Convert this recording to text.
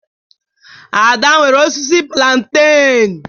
Ada nwere osisi plantain